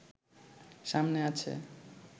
সামনে আছে